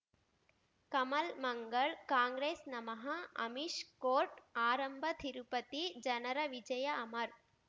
ಕಮಲ್ ಮಂಗಳ್ ಕಾಂಗ್ರೆಸ್ ನಮಃ ಅಮಿಷ್ ಕೋರ್ಟ್ ಆರಂಭ ತಿರುಪತಿ ಜನರ ವಿಜಯ ಅಮರ್